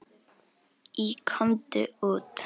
Í Komdu út!